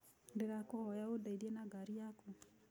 Ndĩrakũhoya ũndeithie na ngari yaku.